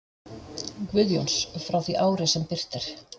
Guðjóns frá því ári, sem birt er.